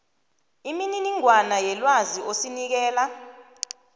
imininingwana yelwazi osinikela